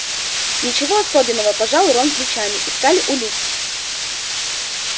ничего особенного пожал рон плечами искали улики